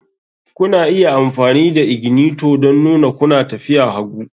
Kuna iya amfani da ignitor don nuna kuna tafiya hagu